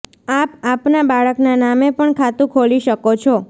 આપ આપના બાળકના નામે પણ ખાતું ખોલી શકો છો